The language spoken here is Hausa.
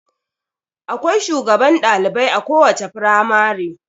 Akwai shugaban dalibai a kowace firamare.